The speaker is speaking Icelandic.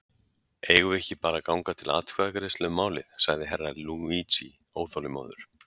Eigum við ekki bara að ganga til atkvæðagreiðslu um málið, sagði Herra Luigi óþolinmóður.